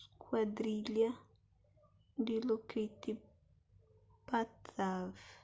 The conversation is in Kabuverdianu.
skuadrilha dilokrit pattavee